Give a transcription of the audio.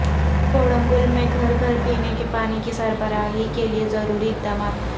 کوڑنگل میں گھر گھر پینے کے پانی کی سربراہی کیلئے ضروری اقدامات